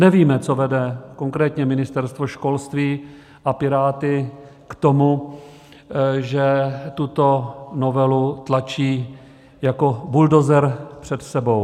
Nevíme, co vede konkrétně Ministerstvo školství a Piráty k tomu, že tuto novelu tlačí jako buldozer před sebou.